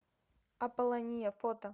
аполлония фото